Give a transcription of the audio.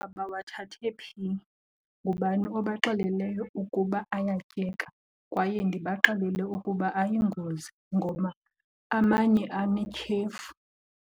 bawathathe phi? Ngubani obaxeleleyo ukuba ayatyeka? Kwaye ndibaxelele ukuba ayingozi ngoba amanye anetyhefu.